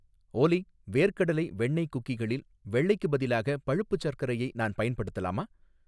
ஓலி வேர்க்கடலை வெண்ணெய் குக்கீகளில் வெள்ளைக்கு பதிலாக பழுப்பு சர்க்கரையை நான் பயன்படுத்தலாமா